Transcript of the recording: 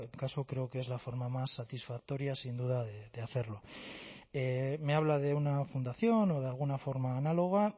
caso creo que es la forma más satisfactoria sin duda de hacerlo me habla de una fundación o de alguna forma análoga